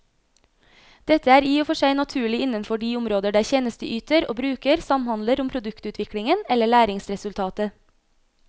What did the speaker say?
Dette er i og for seg naturlig innenfor de områder der tjenesteyter og bruker samhandler om produktutviklingen eller læringsresultatet.